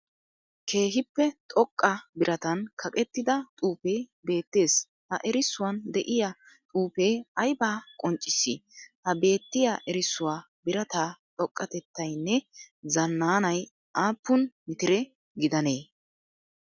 Keehippe xoqa biratan kaqettida xuufe beetes, ha erisuwan de'iyaa xuufe ayba qonccissi? Ha beetiya erisuwaa birata xoqatettayinne zananay aapun mitire gidanee?